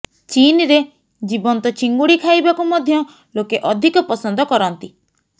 ଚୀନରେ ଜୀବନ୍ତ ଚିଙ୍ଗୁଡି ଖାଇବାକୁ ମଧ୍ୟ ଲୋକେ ଅଧିକ ପସନ୍ଦ କରନ୍ତି